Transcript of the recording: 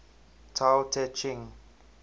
tao te ching